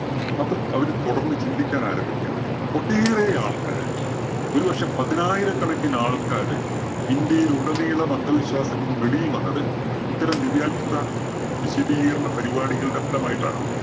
നോക്ക് അവര് തുടര്‍ന്ന് ചിന്തിക്കാന്‍ ആരംഭിക്കയാണ്. ഒട്ടേറെ ആള്‍ക്കാര് ഒരു പക്ഷേ പതിനായിരക്കണക്കിന് ആള്‍ക്കാര് ഇന്ത്യയിലുടനീളം അന്ധവിശ്വാസങ്ങള്‍ക്ക് വെളിയില്‍ വന്നത് ഇത്തരം ദിവ്യാത്ഭുത വിശദീകരണ പരിപാടികളുടെ ഫലമായിട്ടാണ്.